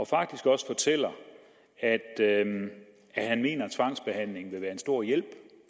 faktisk også fortæller at han mener tvangsbehandling vil være en stor hjælp